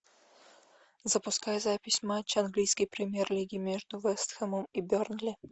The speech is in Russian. запускай запись матча английской премьер лиги между вест хэмом и бернли